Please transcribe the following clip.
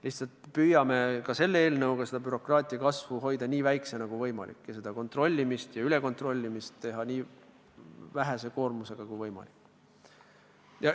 Lihtsalt et püüame selle eelnõuga hoida bürokraatia kasvu nii väikese kui võimalik ning teha kontrollimist ja ülekontrollimist nii vähese koormusega kui võimalik.